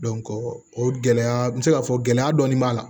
o gɛlɛya n bɛ se k'a fɔ gɛlɛya dɔɔni b'a la